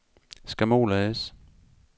Skamol A/S